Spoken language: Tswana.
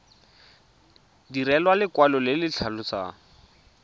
direlwa lekwalo le le tlhalosang